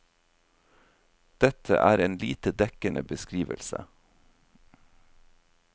Dette er en lite dekkende beskrivelse.